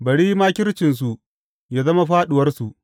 Bari makircinsu yă zama fāɗuwarsu.